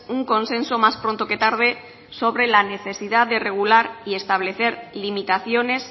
un consenso más pronto que tarde sobre la necesidad de regular y establecer limitaciones